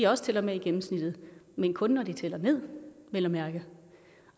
også tæller med i gennemsnittet men kun når de tæller ned vel at mærke